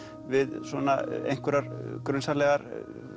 við svona einhverjar grunsamlegar